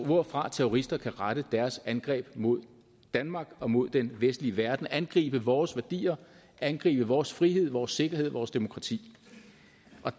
hvorfra terrorister kan rette deres angreb mod danmark og mod den vestlige verden angribe vores værdier angribe vores frihed vores sikkerhed vores demokrati